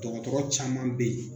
Dɔgɔtɔrɔ caman bɛ yen